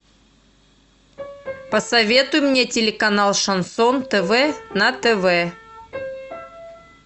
посоветуй мне телеканал шансон тв на тв